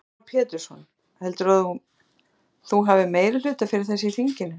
Heimir Már Pétursson: Heldurðu að þú hafi meirihluta fyrir þessu í þinginu?